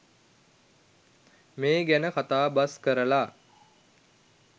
මේ ගැන කතා බස් කරලා